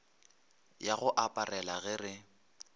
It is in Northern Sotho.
ya go aparela ge re